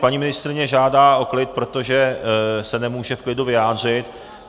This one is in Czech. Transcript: Paní ministryně žádá o klid, protože se nemůže v klidu vyjádřit.